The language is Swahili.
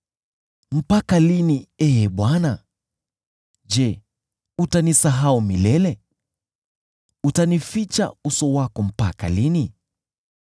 Mpaka lini, Ee Bwana ? Je, utanisahau milele? Utanificha uso wako mpaka lini?